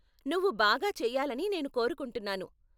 నువ్వు బాగా చెయ్యాలని నేను కోరుకుంటున్నాను.